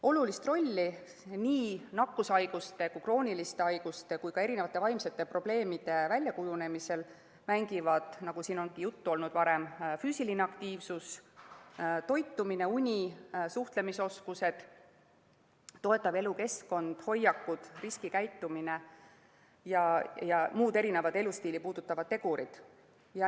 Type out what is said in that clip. Olulist rolli nii nakkushaiguste, krooniliste haiguste kui ka vaimsete probleemide väljakujunemisel mängivad, nagu siin on ka varem juttu olnud, füüsiline aktiivsus, toitumine, uni, suhtlemisoskused, toetav elukeskkond, hoiakud, riskikäitumine ja muud elustiili puudutavad tegurid.